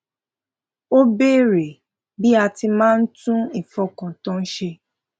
ó béèrè bí a ti máa ń tún ìfọkàntán ṣe